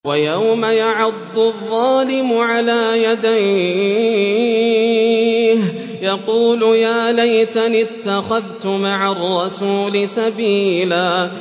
وَيَوْمَ يَعَضُّ الظَّالِمُ عَلَىٰ يَدَيْهِ يَقُولُ يَا لَيْتَنِي اتَّخَذْتُ مَعَ الرَّسُولِ سَبِيلًا